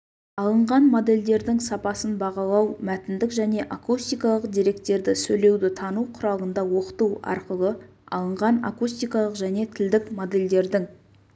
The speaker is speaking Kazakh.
алынған модельдердің сапасын бағалау мәтіндік және акустикалық деректерді сөйлеуді тану құралында оқыту арқылы алынған акустикалық және тілдік модельдердің